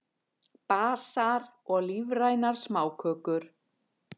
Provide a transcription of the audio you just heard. Basar og lífrænar smákökur